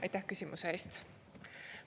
" Aitäh küsimuse eest!